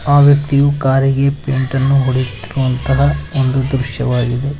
ಆ ವ್ಯಕ್ತಿಯು ಕಾರಿಗೆ ಪೇಂಟ್ ಅನ್ನು ಹೊಡೆಯುತ್ತಿರುವಂತಹ ಒಂದು ದೃಶ್ಯವಾಗಿದೆ.